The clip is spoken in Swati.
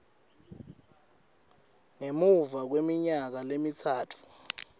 ngemuva kweminyaka lemitsatfu